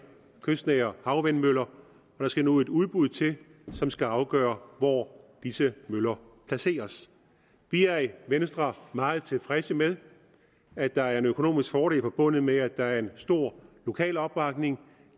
kystnære havvindmøller der skal nu et udbud til som skal afgøre hvor disse møller placeres vi er i venstre meget tilfredse med at der er en økonomisk fordel forbundet med at der er en stor lokal opbakning